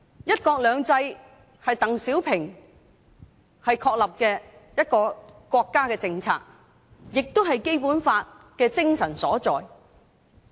"一國兩制"是鄧小平確立的國家政策，亦是《基本法》的精神所在。